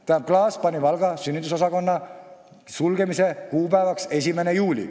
Tähendab, Klaas pani Valga sünnitusosakonna sulgemise kuupäevaks 1. juuli.